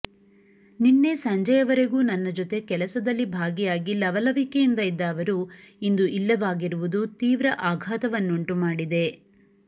ನಿನ್ನೆ ಸಂಜೆಯವರೆಗೂ ನನ್ನ ಜೊತೆ ಕೆಲಸದಲ್ಲಿ ಭಾಗಿಯಾಗಿ ಲವಲವಿಕೆಯಿಂದ ಇದ್ದ ಅವರು ಇಂದು ಇಲ್ಲವಾಗಿರುವುದು ತೀವ್ರ ಆಘಾತವನ್ನುಂಟುಮಾಡಿದೆ